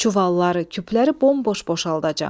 Çuvalları, küpləri bomboş boşaldacam.